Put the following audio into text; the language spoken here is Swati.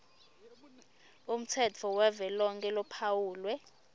umtsetfo wavelonkhe lophawulwe